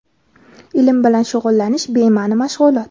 ilm bilan shug‘ullanish — bemaʼni mashg‘ulot.